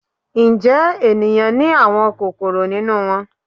Njẹ eniyan ni awọn kokoro ninu wọn?